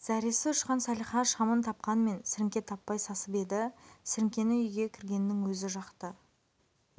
зәресі ұшқан салиха шамын тапқанмен сіріңке таппай сасып еді сіріңкені үйге кіргеннің өзі жақты